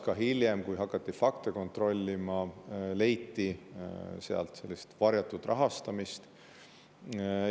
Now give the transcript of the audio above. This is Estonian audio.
Ka hiljem, kui hakati fakte kontrollima, leiti sealt varjatud rahastamist.